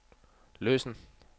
løsen